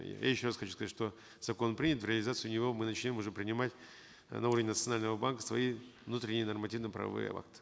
э я еще раз хочу сказать что закон принят в реализацию его мы начнем уже принимать э новые национального банка свои внутренние нормативно правовые акты